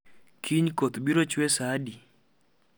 Kiny koth biro chwe saa adi